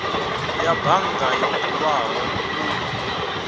ya bannga yo bulwaho u